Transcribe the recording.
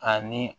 Ani